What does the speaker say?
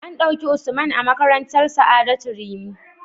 An dauki Usman a makarantar sa'adatu rimi